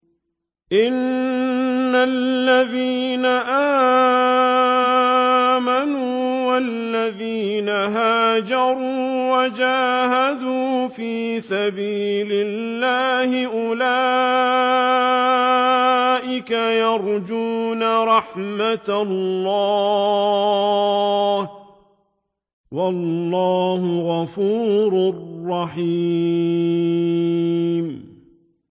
إِنَّ الَّذِينَ آمَنُوا وَالَّذِينَ هَاجَرُوا وَجَاهَدُوا فِي سَبِيلِ اللَّهِ أُولَٰئِكَ يَرْجُونَ رَحْمَتَ اللَّهِ ۚ وَاللَّهُ غَفُورٌ رَّحِيمٌ